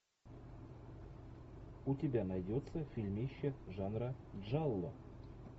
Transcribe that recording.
у тебя найдется фильмище жанра джалло